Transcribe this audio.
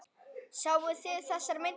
Sáuð þið þessar myndir?